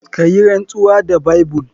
Kayinrantsuwa da Bible.